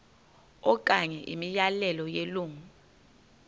okanye imiyalelo yelungu